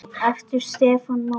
Eftir Stefán Mána.